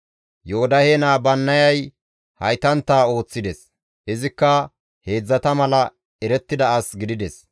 Yoodahe naa Bannayay haytantta ooththides; izikka heedzdzata mala erettida as gidides.